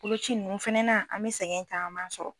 Boloci ninnu fɛnɛ an mɛ sɛgɛn kaman sɔrɔ.